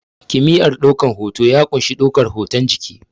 Kimiyar ɗaukan hoto ya ƙunshi ɗaukan hotun jiki